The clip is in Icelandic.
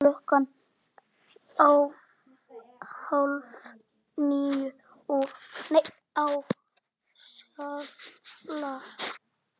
Klukkan hálf níu á Skalla!